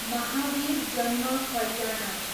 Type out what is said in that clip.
महावीर जन्म कल्याणक